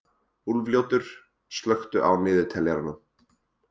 Úlfljótur, slökktu á niðurteljaranum.